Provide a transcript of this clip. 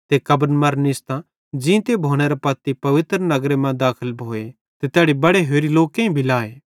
ते कब्रन मरां निस्तां ज़ींते भोनेरां पत्ती पवित्र नगर मां दाखल भोए ते तैड़ी बड़े होरि लोकेईं भी लाए